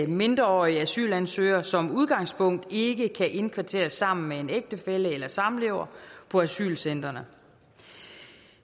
mindreårige asylansøgere som udgangspunkt ikke kan indkvarteres sammen med en ægtefælle eller samlever på asylcentrene